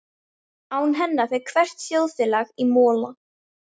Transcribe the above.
Án hennar fer hvert þjóðfélag í mola.